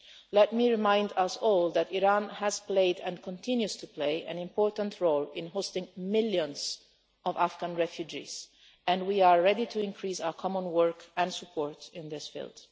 Let me remind us all that Iran has played and continues to play an important role in hosting millions of Afghan refugees and we are ready to increase our common work and support in this field.